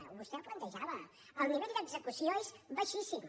i vostè ho plantejava el nivell d’execució és baixíssim